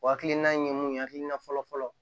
O hakilina in ye mun ye hakilina fɔlɔfɔlɔ